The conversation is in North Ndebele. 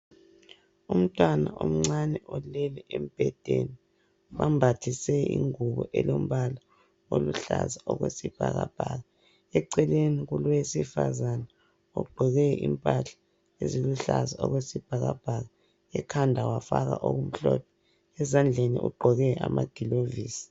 Umntwana omncane olele embhedeni bambathise ingubo elombala oluhlaza okwesibhakabhaka eceleni kulowesifazana ogqoke impahla eziluhlaza okwesibhakabhaka ekhanda wafaka okumhlophe ezandleni ugqoke amagilovisi.